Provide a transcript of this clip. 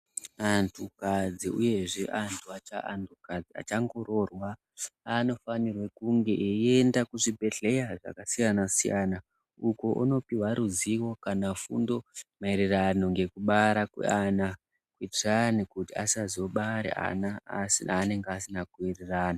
Antukadzi uyezve antukadzi achangoroorwa anofanirwa kunge eienda kuzvibhedhlera zvakasiyana siyana uko unopihwa ruzivo kana fundo maererano nekubara kweana kuitirani kuti asazobara ana aanenge asina kuwirirana.